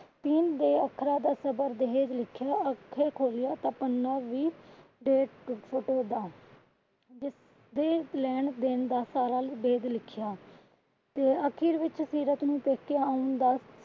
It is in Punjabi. ਤੀਨ ਦੇ ਅੱਖਰਾਂ ਦਾ ਸਬਰ ਦਹੇਜ ਲਿਖਿਆ ਅੱਖਾਂ ਖੋਲਿਆਂ ਤਾਂ ਪੰਨਾ ਵੀ . ਜਿਸਤੇ ਲੈਣ ਦੇਣ ਦਾ ਸਾਰਾ ਭੇਦ ਲਿਖਿਆ ਤੇ ਅਖੀਰ ਵਿੱਚ ਸੀਰਤ ਨੂੰ ਪੇਕੇ ਆਉਣ ਦਾ,